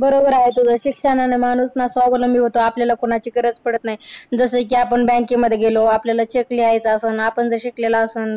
बरोबर आहे तुझं. शिक्षणानं माणूस ना स्वावलंबी होतो. आपल्याला कोणाची गरज पडत नाही. जसं की आपण bank मध्ये गेलो, आपल्याला लिहायचा असण. आपण जर शिकलेलो असण